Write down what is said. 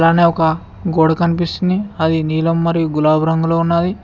ఒక గోడ కనిపిస్తుంది అది నీలం మరియు గులాబీ రంగులో ఉన్నది.